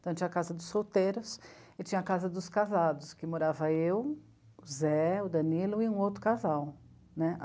Então tinha a casa dos solteiros e tinha a casa dos casados, que morava eu, o Zé, o Danilo e um outro casal né.